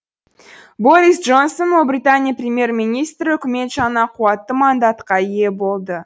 борис джонсон ұлыбритания премьер министрі үкімет жаңа қуатты мандатқа ие болды